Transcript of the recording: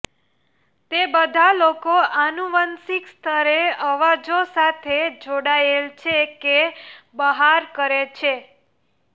તે બધા લોકો આનુવંશિક સ્તરે અવાજો સાથે જોડાયેલ છે કે બહાર કરે છે